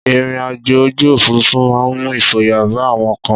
Ìrìn àjò ojú òfúrufú máa ń mú ìfòyà bá àwọn kan.